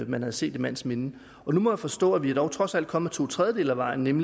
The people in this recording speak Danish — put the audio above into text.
man havde set i mands minde nu må jeg forstå vi er dog trods alt kommet to tredjedele af vejen